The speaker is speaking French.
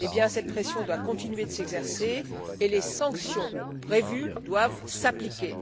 Cette pression doit continuer de s'exercer et les sanctions prévues doivent s'appliquer.